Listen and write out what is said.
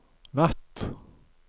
natt